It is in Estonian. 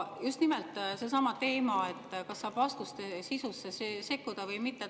Just nimelt seesama teema, kas saab vastuste sisusse sekkuda või mitte.